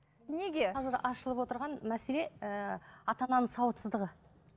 неге қазір ашылып отырған мәселе ыыы ата ананың сауатсыздығы